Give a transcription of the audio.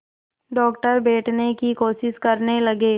doctor बैठने की कोशिश करने लगे